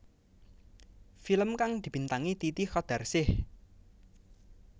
Film kang dibintangi Titi Qadarsih